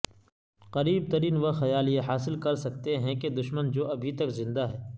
قریب ترین وہ خیال یہ حاصل کرسکتے ہیں کہ دشمن جو ابھی تک زندہ ہے